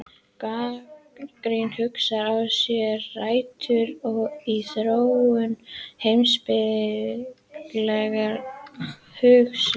Gagnrýnin hugsun á sér rætur í þróun heimspekilegrar hugsunar.